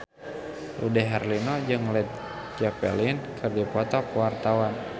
Dude Herlino jeung Led Zeppelin keur dipoto ku wartawan